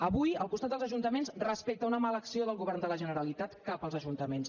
avui al costat dels ajuntaments respecte a una mala acció del govern de la generalitat cap als ajuntaments